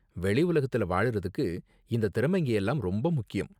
வெளி உலகத்துல வாழ்றதுக்கு இந்த திறமைங்க எல்லாம் ரொம்ப முக்கியம்.